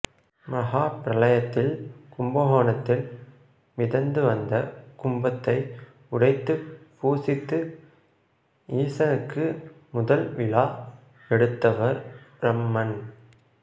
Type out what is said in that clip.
மகாபிரளயத்தில் கும்பகோணத்தில் மிதந்து வந்த கும்பத்தை உடைத்து பூசித்து ஈசனுக்கு முதல் விழா எடுத்தவர் பிரம்மன்